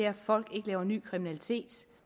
at folk ikke laver ny kriminalitet